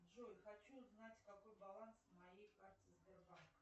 джой хочу знать какой баланс на моей карте сбербанка